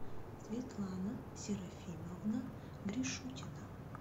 светлана серафимовна гришутина